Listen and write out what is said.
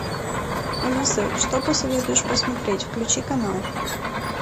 алиса что посоветуешь посмотреть включи канал